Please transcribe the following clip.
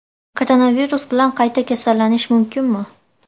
Koronavirus bilan qayta kasallanish mumkinmi?